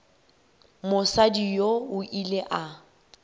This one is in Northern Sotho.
mosadi yoo o ile a